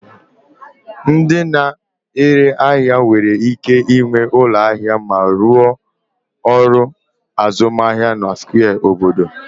Ndị na-ere ahịa nwere ike ịnwe ụlọ ahịa ma rụọ ọrụ azụmahịa na square obodo